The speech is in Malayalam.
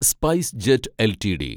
സ്പൈസ്ജെറ്റ് എൽടിഡി